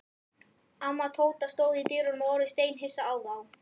Amma Tóta stóð í dyrunum og horfði steinhissa á þá.